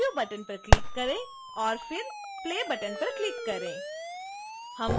preview button पर click करें और फिर play बटन पर क्लिक करें